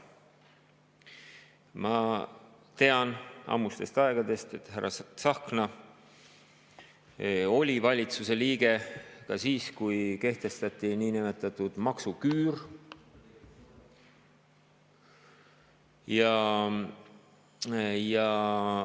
Ma tean ammustest aegadest, et härra Tsahkna oli valitsuse liige ka siis, kui kehtestati niinimetatud maksuküür.